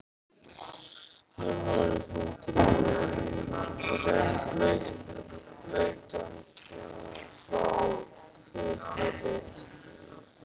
Arnór í fanginu, rennblautan frá hvirfli til ilja.